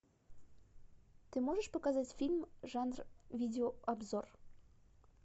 ты можешь показать фильм жанр видеообзор